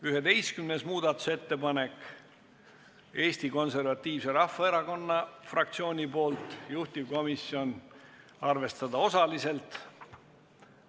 11. muudatusettepanek on Eesti Konservatiivse Rahvaerakonna fraktsioonilt, juhtivkomisjoni otsus on arvestada seda osaliselt.